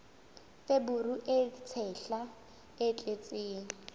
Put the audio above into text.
feberu e tshehla e tletseng